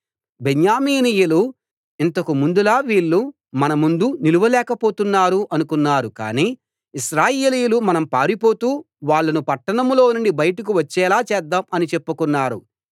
బెన్యామీనీయులు ఇంతకు ముందులా వీళ్ళు మనముందు నిలువలేకపోతున్నారు అనుకున్నారు కానీ ఇశ్రాయేలీయులు మనం పారిపోతూ వాళ్ళను పట్టణంలోనుండి బయటకు వచ్చేలా చేద్దాం అని చెప్పుకున్నారు